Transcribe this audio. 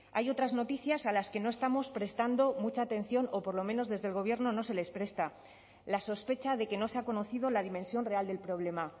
hay otras noticias a las que no estamos prestando mucha atención o por lo menos desde el gobierno no se les presta la sospecha de que no se ha conocido la dimensión real del problema